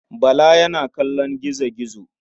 Bala yana kallon gizo-gizo.